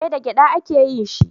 Eh da gyada a ke yin shi